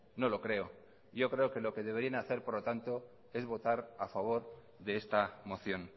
no lo creo yo creo que lo que deberían hacer por lo tanto es votar a favor de esta moción